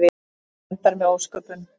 Þetta endar með ósköpum.